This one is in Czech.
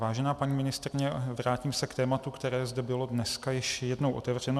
Vážená paní ministryně, vrátím se k tématu, které zde bylo dneska již jednou otevřeno.